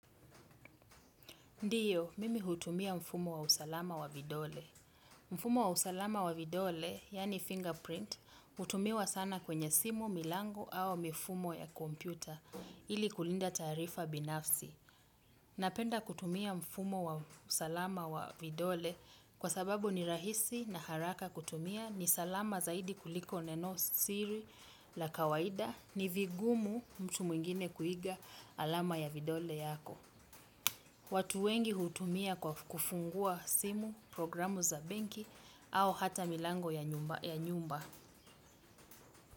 Ndiyo, mimi hutumia mfumo wa usalama wa vidole. Mfumo wa usalama wa vidole, yaani fingerprint, hutumiwa sana kwenye simu, milango, au mifumo ya kompyuta ili kulinda taarifa binafsi. Napenda kutumia mfumo wa usalama wa vidole kwa sababu ni rahisi na haraka kutumia ni salama zaidi kuliko nenosiri la kawaida ni vigumu mtu mwingine kuiga alama ya vidole yako. Watu wengi hutumia kwa kufungua simu, programu za benki au hata milango ya nyumba.